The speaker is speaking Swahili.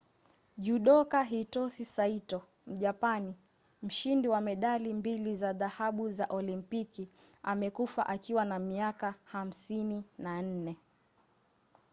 judoka hitosi saito mjapani mshindi wa medali mbili za dhahabu za olimpiki amekufa akiwa na miaka 54